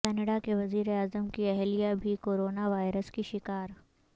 Canada کے وزیر اعظم کی اہلیہ بھی کورونا وائرس کی شکار